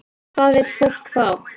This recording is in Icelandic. Hvað vill fólk fá?